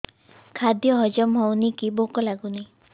ଖାଦ୍ୟ ହଜମ ହଉନି କି ଭୋକ ଲାଗୁନି